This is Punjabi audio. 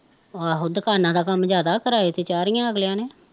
ਆਹੋ ਦੁਕਾਨਾਂ ਦਾ ਕੰਮ ਜਿਆਦਾ, ਕਿਰਾਏ ਤੇ ਚਾਰੀਆ ਅਗਲਿਆ ਨੇ